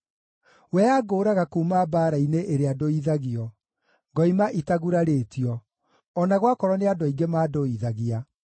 We angũũraga kuuma mbaara-inĩ ĩrĩa ndũithagio, ngoima itagurarĩtio, o na gwakorwo nĩ andũ aingĩ mandũithagia.